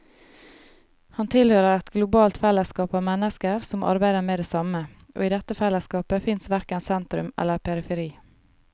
Han tilhører et globalt fellesskap av mennesker som arbeider med det samme, og i dette fellesskapet fins verken sentrum eller periferi.